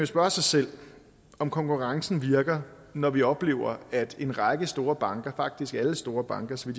spørge sig selv om konkurrencen virker når vi oplever at en række store banker faktisk alle store banker så